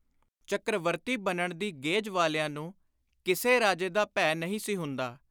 ਚੱਕ੍ਰਵਰਤੀ ਬਣਨ ਦੀ ਗੇਝ ਵਾਲਿਆਂ ਨੂੰ ਕਿਸੇ ਰਾਜੇ ਦਾ ਭੈ ਨਹੀਂ ਸੀ ਹੁੰਦਾ।